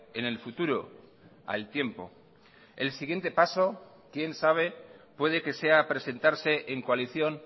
en el futuro al tiempo el siguiente paso quién sabe puede que sea presentarse en coalición